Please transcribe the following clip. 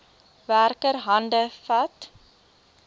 werker hande vat